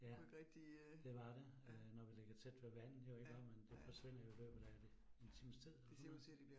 Ja, det var det. Øh når vi ligger tæt ved vandet jo iggå, men det forsvinder jo i løbet af det en times tid eller sådan noget